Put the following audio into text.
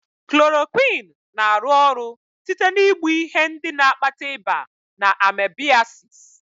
Klorokwịnụ na-arụ ọrụ site na igbu ihe ndị na-akpata ịba na amebịasịs.